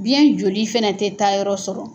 Biyɛn joli fana tɛ taayɔrɔ sɔrɔ.